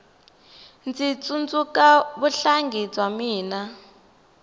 ndzi tsundzuka vuhlangi bya mina